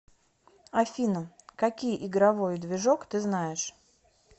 афина какие игровой движок ты знаешь